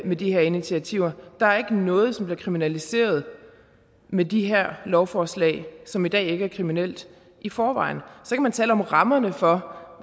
med de her initiativer der er ikke noget som bliver kriminaliseret med de her lovforslag som i dag ikke er kriminelt i forvejen så kan man tale om rammerne for